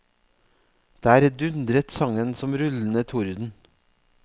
Der dundret sangen som rullende torden.